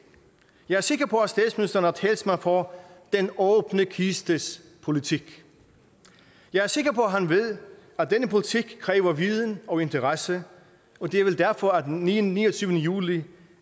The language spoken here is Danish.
jeg er sikker på at statsministeren er talsmand for den åbne kistes politik jeg er sikker på at han ved at denne politik kræver viden og interesse og det er vel derfor at den niogtyvende juli